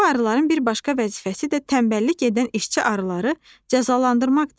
Bu arıların bir başqa vəzifəsi də tənbəllik edən işçi arıları cəzalandırmaqdır.